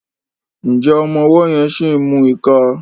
Njé ọmọ ọwó yén sí mú ìká?